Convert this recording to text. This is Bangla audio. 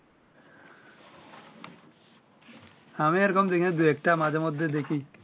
আমি এই রকম দেখি না দুই একটা মাঝে মধ্যে দেখি